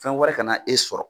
Fɛn wɛrɛ kana e sɔrɔ